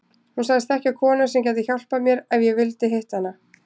Hún sagðist þekkja konu sem gæti hjálpað mér ef ég vildi hitta hana.